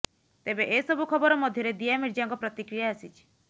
ତେବେ ଏସବୁ ଖବର ମଧ୍ୟରେ ଦିଆ ମିର୍ଜାଙ୍କ ପ୍ରତିକ୍ରିୟା ଆସିଛି